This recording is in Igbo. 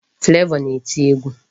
Flavor na-eti egwu.